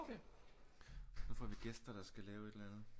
Nu får vi gæster der skal lave et eller andet